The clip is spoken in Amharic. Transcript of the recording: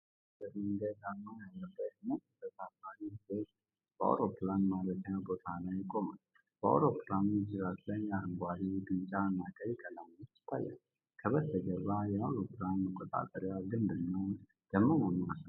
የኢትዮጵያ አየር መንገድ አርማ ያለበት ነጭ ተሳፋሪ ጄት በአውሮፕላን ማረፊያ ቦታ ላይ ቆሟል። በአውሮፕላኑ ጅራት ላይ አረንጓዴ፣ ቢጫና ቀይ ቀለሞች ይታያሉ። ከበስተጀርባ የአውሮፕላን መቆጣጠሪያ ግንብ እና ደመናማ ሰማይ አለ።